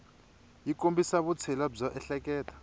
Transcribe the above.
yi kombisa vutshila byo ehleketa